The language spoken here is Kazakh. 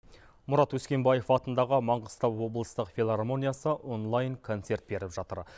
мұрат өскенбаев атындағы маңғыстау облыстық филармониясы онлайн концерт беріп жатыр